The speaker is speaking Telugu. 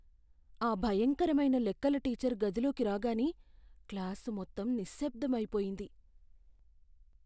ఆ భయంకరమైన లెక్కల టీచరు గదిలోకి రాగానే క్లాసు మొత్తం నిశ్శబ్దం అయిపొయింది.